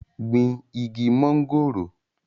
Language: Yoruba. gbin igi mọ́ngòrò